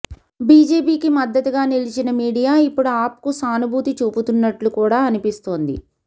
బిజెపికి మద్దతుగా నిలిచిన మీడియా యిప్పుడు ఆప్కు సానుభూతి చూపుతున్నట్లు కూడా అనిపిస్తోంది